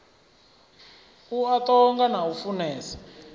a ṱonga na u funesa